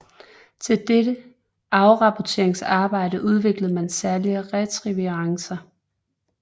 Til dette apporteringsarbejde udviklede man særlige retrieverracer